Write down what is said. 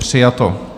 Přijato.